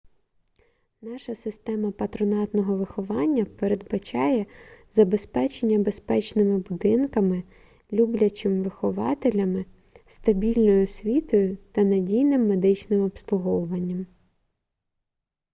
наша система патронатного виховання передбачає забезпечення безпечними будинками люблячим вихователями стабільною освітою та надійним медичним обслуговуванням